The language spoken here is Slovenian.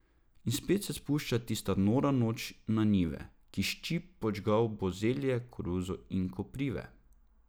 In spet se spušča tista nora noč na njive, ko ščip podžgal bo zelje, koruzo in koprive.